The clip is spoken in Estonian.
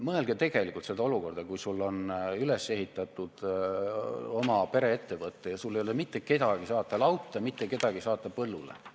Mõelge tegelikult sellele olukorrale – sul on üles ehitatud oma pereettevõte ja sul ei ole mitte kedagi saata lauta, mitte kedagi saata põllule.